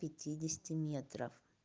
пятидесяти метров